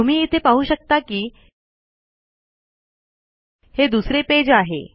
तुम्ही इथे पाहू शकता कि हे दुसरे पेज आहे